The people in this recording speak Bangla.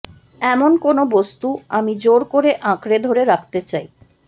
এমন কোনও বস্তু আমি জোর করে আঁকড়ে ধরে রাখতে চাই